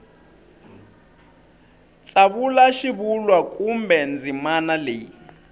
tsavula xivulwa kumbe ndzimana leyi